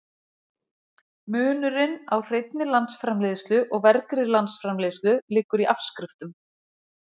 munurinn á hreinni landsframleiðslu og vergri landsframleiðslu liggur í afskriftum